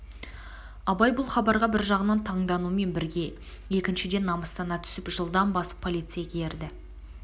абай бұл хабарға бір жағынан таңданумен бірге екінішден намыстана түсіп жылдам басып полицейге ерді